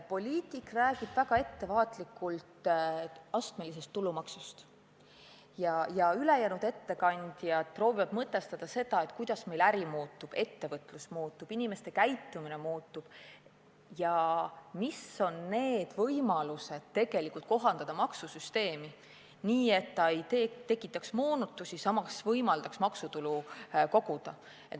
Poliitik räägib väga ettevaatlikult astmelisest tulumaksust ja ülejäänud ettekandjad proovivad mõtestada seda, kuidas meil äri muutub, ettevõtlus muutub, inimeste käitumine muutub ja millised on võimalused kohandada maksusüsteemi nii, et see ei tekitaks moonutusi, aga samas võimaldaks maksutulu koguda.